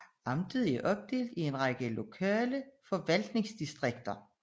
Amtet er opdelt i en række lokale forvaltningsdistrikter